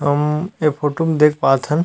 हम ये फोटो म देख पात हन--